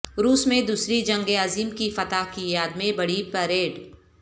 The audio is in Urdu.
روس میں دوسری جنگ عظیم کی فتح کی یاد میں بڑی پریڈ